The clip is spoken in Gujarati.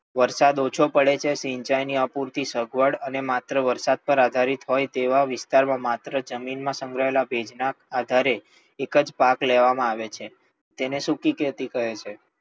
વરસાદ ઓછો પડે છે, સિંચાઈ ની અપૂરતી સગવડઅને માત્ર વરસાદ પર આધારિત હોય તેવા વિસ્તાર માં માત્ર જમીન માં સંગ્રહાયેલ ભેજ ના આધારે જ એક જ પાક લેવામાં આવે છે. તેને સૂકી ખેતી કહે છે.